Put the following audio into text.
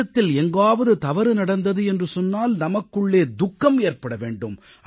தேசத்தில் எங்காவது தவறு நடந்தது என்று சொன்னால் நமக்குள்ளே துக்கம் ஏற்பட வேண்டும்